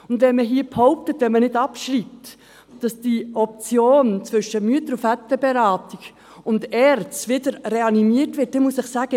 Und wenn man hier behauptet, wenn man nicht abschreibe, werde die Option zwischen Mütter- und Väterberatung und ERZ wieder reanimiert, dann muss ich Ihnen sagen: